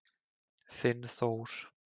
Þinn Þór.